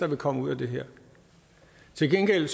vil komme ud af det her til gengæld